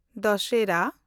Dussehra